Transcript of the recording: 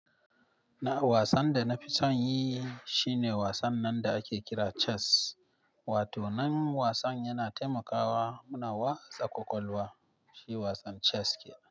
Na wasan da nafi sonyi shine wasan nan da ake kira chess. Wato nan wasan yana taimakawa muna wasa kwakwalwa, shi wasan chess kenan.